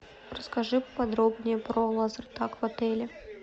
расскажи подробнее про лазертаг в отеле